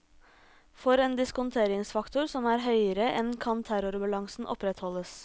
For en diskonteringsfaktor som er høyere enn kan terrorbalansen opprettholdes.